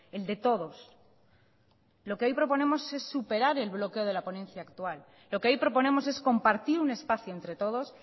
el de todos lo que hoy proponemos es superar el bloqueo de la ponencia actual lo que hoy proponemos es compartir un espacio entre todos